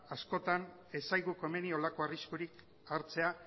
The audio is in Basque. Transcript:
askotan ez zaigu komeni horrelako arriskurik hartzea